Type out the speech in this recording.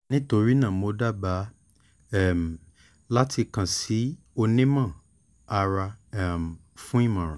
nitorina mo daba um lati kan si a onimọ-ara um fun imọran